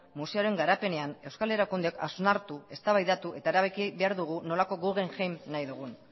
museoaren garapenean euskal erakundeek hausnartu eztabaidatu eta erabaki behar dugu nolako guggenheim nahi dugun